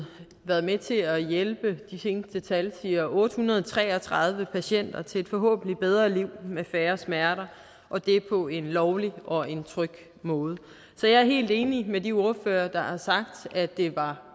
været med til at hjælpe de seneste tal siger otte hundrede og tre og tredive patienter til et forhåbentlig bedre liv med færre smerter og det på en lovlig og en tryg måde så jeg er helt enig med de ordførere der har sagt at det var